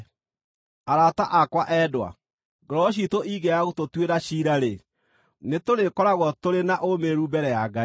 Arata akwa endwa, ngoro ciitũ ingĩaga gũtũtuĩra ciira-rĩ, nĩtũrĩkoragwo tũrĩ na ũũmĩrĩru mbere ya Ngai,